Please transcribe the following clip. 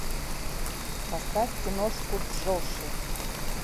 поставь киношку джоши